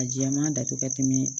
A jɛman datugu ka tɛmɛ